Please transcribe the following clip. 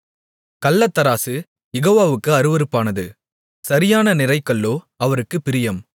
கள்ளத்தராசு யெகோவாவுக்கு அருவருப்பானது சரியான நிறைகல்லோ அவருக்குப் பிரியம்